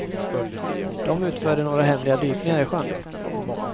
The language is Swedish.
De utförde några hemliga dykningar i sjön.